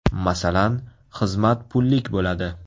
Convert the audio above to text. Masalan, xizmat pullik bo‘ladi.